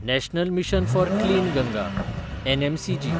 national mission for clean Ganga (NMCG)